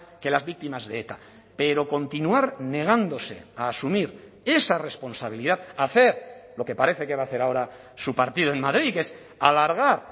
que las víctimas de eta pero continuar negándose a asumir esa responsabilidad hacer lo que parece que va a hacer ahora su partido en madrid que es alargar